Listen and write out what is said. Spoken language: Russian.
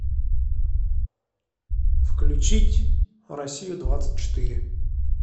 включить россию двадцать четыре